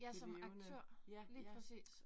Ja, som aktør lige præcis